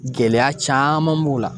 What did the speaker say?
Gɛlɛya caaman b'o la